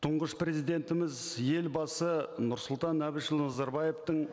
тұңғыш президентіміз елбасы нұрсұлтан әбішұлы назарбаевтың